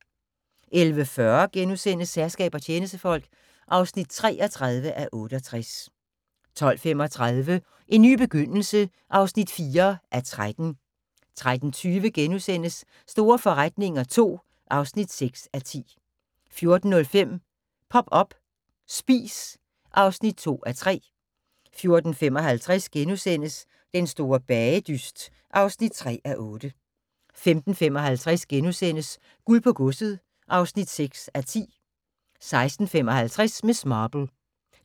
11:40: Herskab og tjenestefolk (33:68)* 12:35: En ny begyndelse (4:13) 13:20: Store forretninger II (6:10)* 14:05: Pop up – Spis (2:3) 14:55: Den store bagedyst (3:8)* 15:55: Guld på godset (6:10)* 16:55: Miss Marple